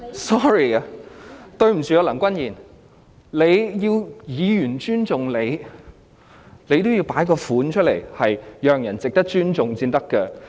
Sorry， 對不起，梁君彥，你要議員尊重你，你也要有讓人值得尊重的模樣才行。